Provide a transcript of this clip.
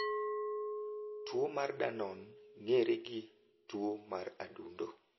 Tuwo mar Danon ng’ere gi tuwo mar adundo.